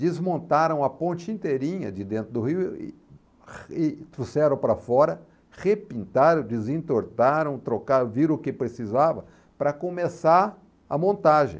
Desmontaram a ponte inteirinha de dentro do rio e e trouxeram para fora, repintaram, desentortaram, trocaram, viram o que precisava para começar a montagem.